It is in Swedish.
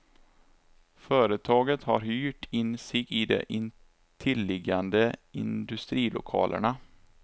Företaget har hyrt in sig i de intilliggande industrilokalerna.